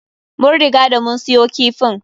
Mun riga da mun siyo kifin.